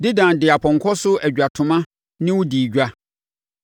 “ ‘Dedan de apɔnkɔ so adwatoma ne wo dii edwa.